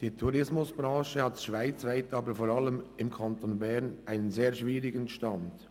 Die Tourismusbranche hat schweizweit und vor allem im Kanton Bern einen sehr schwierigen Stand.